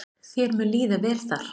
Þér mun líða vel þar.